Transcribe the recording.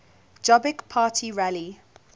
jobbik party rally